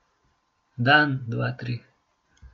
Dan, dva, tri ...